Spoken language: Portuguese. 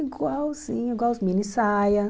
Igualzinho, igual as mini saia.